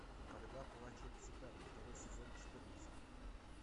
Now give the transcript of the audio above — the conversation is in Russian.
когда плачут цикады второй сезон четырнадцать